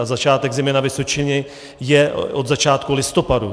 A začátek zimy na Vysočině je od začátku listopadu.